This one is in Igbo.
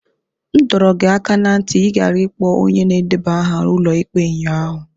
M dọrọ gị aka ná ntị ka ị ghara ịkpọ onye na-edeba aha ụlọ ikpe ụnyaahụ!